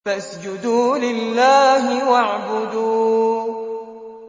فَاسْجُدُوا لِلَّهِ وَاعْبُدُوا ۩